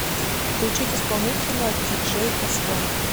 включить исполнителя диджей э стон